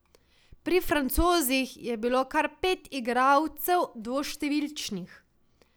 Pri Francozih je bilo kar pet igralcev dvoštevilčnih.